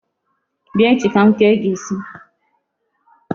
Bịa echi ka m kee gị isi.